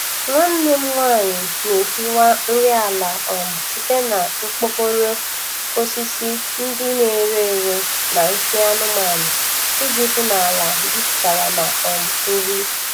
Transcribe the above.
Nwanne m nwanyị na-ehiwa nri ala um site na mkpokoro, osisi ndị na-ere ere na nsị anụmanụ iji hụ na ala jupụtara na um nri.